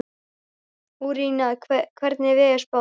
Úranía, hvernig er veðurspáin?